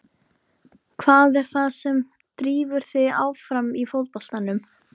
Hvað er það sem drífur þig áfram í fótboltanum?